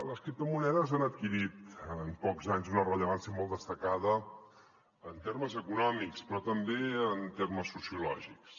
les criptomonedes han adquirit en pocs anys una rellevància molt destacada en termes econòmics però també en termes sociològics